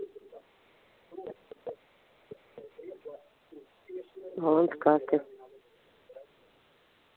вот карта